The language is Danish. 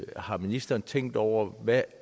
har ministeren tænkt over hvilke